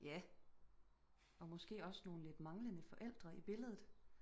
Ja og måske også nogel lidt manglende forældre i billedet